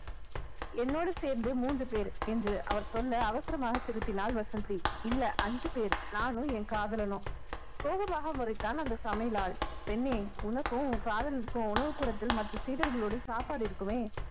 என்னோடு சேர்ந்து மூன்று பேர் என்று அவர் சொன்ன அவசரமாக திருத்தினால் வசந்தி இல்ல அஞ்சு பேரு நானும் என் காதலனும் கோபமாக முறைத்தான் அந்த சமையல் ஆள் பெண்ணே உனக்கும் உன் காதலனுக்கும் உணவு கூடத்தில் மற்ற சீடர்களோடு சாப்பாடு இருக்குமே